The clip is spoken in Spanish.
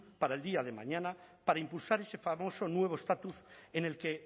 para el día de mañana para impulsar ese famoso nuevo estatus en el que